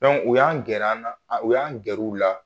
u y'an gɛrɛ an na u y'an gɛrɛ u la